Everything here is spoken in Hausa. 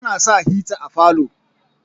ana sa hita a falo